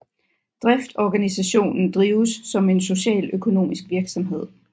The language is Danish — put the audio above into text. Driftsorganisationen drives som en socialøkonomisk virksomhed